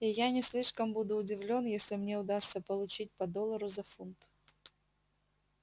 и я не слишком буду удивлён если мне удастся получить по доллару за фунт